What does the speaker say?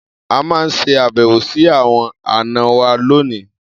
A máa ṣe àbẹ̀wò sí àwọn àna wa lónìí.